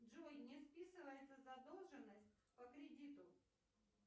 джой не списывается задолженность по кредиту